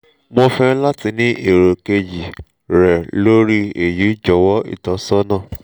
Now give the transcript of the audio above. mo fe lati ni ero keji re lori eyi jowo itosona